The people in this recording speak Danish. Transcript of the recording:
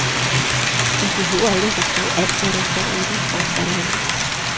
Vi behøver ikke at forstå alt, hvad der står i den, fortsatte han.